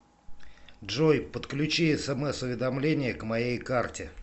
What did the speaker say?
джой подключи смс уведомление к моей карте